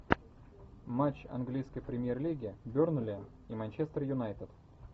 матч английской премьер лиги бернли и манчестер юнайтед